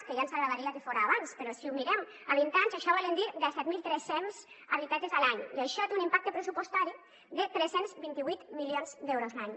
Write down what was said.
que ja ens agradaria que fora abans però si ho mirem a vint anys això vol dir disset mil tres cents habitatges a l’any i això té un impacte pressupostari de tres cents i vint vuit milions d’euros l’any